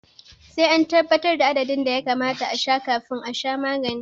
Sai an tabbatar da adadin da ya kamata a sha kafin a sha magani